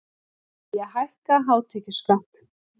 Vilja hækka hátekjuskatt